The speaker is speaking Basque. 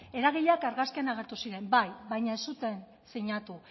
eragileak argazkian agertu ziren bai baina ez zuten sinatu